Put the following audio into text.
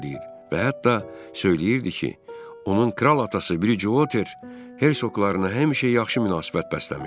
Və hətta söyləyirdi ki, onun kral atası, Bricuotter hersoqlarına həmişə yaxşı münasibət bəsləyib.